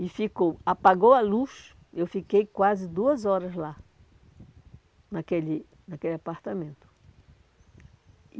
E ficou, apagou a luz, eu fiquei quase duas horas lá, naquele naquele apartamento.